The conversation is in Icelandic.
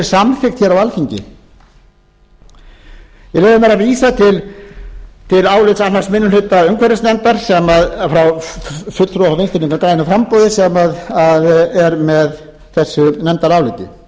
samþykkt hér á alþingi ég leyfi mér að vísa til álits annars minnihluta umhverfisnefndar sem er frá fulltrúa frá vinstri hreyfingunni grænu framboði sem er með þessu nefndaráliti vinstri hreyfingin grænt